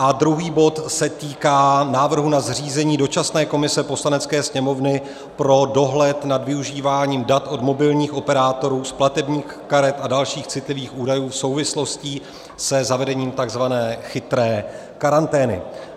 A druhý bod se týká návrhu na zřízení dočasné komise Poslanecké sněmovny pro dohled nad využíváním dat od mobilních operátorů z platebních karet a dalších citlivých údajů v souvislostí se zavedením tzv. chytré karantény.